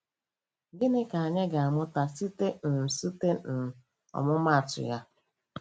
Gịnị ka anyị ga-amụta site n site n ọmụmaatụ ya?